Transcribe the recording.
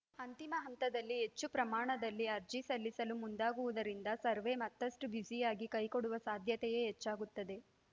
ಅಂತಿಮ ಹಂತದಲ್ಲಿ ಹೆಚ್ಚು ಪ್ರಮಾಣದಲ್ಲಿ ಅರ್ಜಿ ಸಲ್ಲಿಸಲು ಮುಂದಾಗುವುದರಿಂದ ಸರ್ವೇ ಮತ್ತಷ್ಟುಬ್ಯುಸಿಯಾಗಿ ಕೈ ಕೊಡುವ ಸಾಧ್ಯತೆಯೇ ಹೆಚ್ಚಾಗುತ್ತದೆ